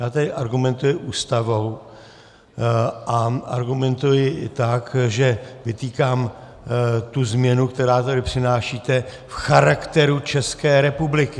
Já tady argumentuji Ústavou a argumentuji i tak, že vytýkám tu změnu, kterou tady přinášíte, v charakteru České republiky.